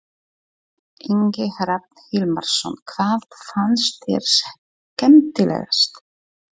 Ingi Hrafn Hilmarsson: Hvað fannst þér skemmtilegast?